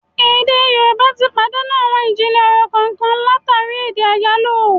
Èdè Yorùbá tí pàdánù àwọn ijinlẹ ọ̀rọ̀ kànkan látàri èdè àyálò